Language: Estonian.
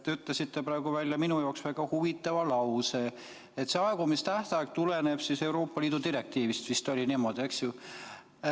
Te ütlesite praegu välja minu jaoks väga huvitava lause, et see aegumistähtaeg tuleneb Euroopa Liidu direktiivist, vist oli niimoodi, eks ju.